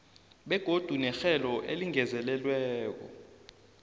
begodu nerhelo elingezelelweko